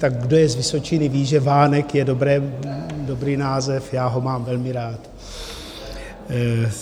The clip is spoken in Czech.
Tak kdo je z Vysočiny ví, že vánek je dobrý název, já ho mám velmi rád.